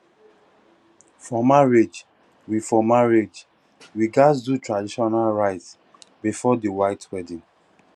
for marriage we for marriage we gats do traditional rites before the white wedding